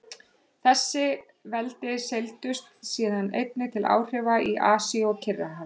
Þessi veldi seildust síðan einnig til áhrifa í Asíu og Kyrrahafi.